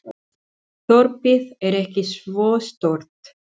Þorpið er ekki svo stórt.